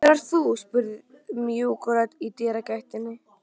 Hver ert þú? spurði mjúk rödd í dyragættinni.